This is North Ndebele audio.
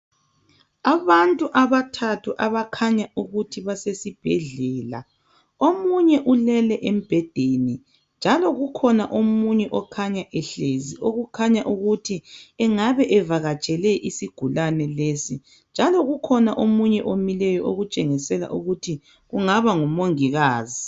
Abantu abathathu abakhanya ukuthi basesibhedlela omunye ulele embhedeni njalo kukhona omunye okhanya ehlezi okukhanya ukuthi engabe evakatshele isigulane lesi njalo kukhona omunye omileyo okutshengisela ukuthi kungaba ngomongikazi.